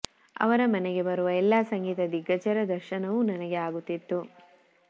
ಅವರ ಮನೆಗೆ ಬರುವ ಎಲ್ಲ ಸಂಗೀತ ದಿಗ್ಗಜರ ದರ್ಶನವೂ ನನಗೆ ಆಗುತ್ತಿತ್ತು